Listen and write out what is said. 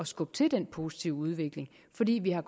skubbe til den positive udvikling fordi vi har